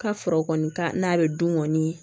Ka sɔrɔ kɔni ka n'a bɛ dun kɔni